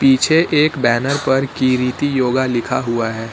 पीछे एक बैनर पर किरीति योगा लिखा हुआ है।